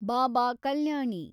ಬಾಬಾ ಕಲ್ಯಾಣಿ